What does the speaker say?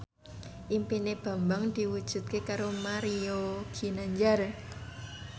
impine Bambang diwujudke karo Mario Ginanjar